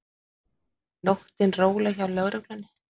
Nóttin róleg hjá lögreglunni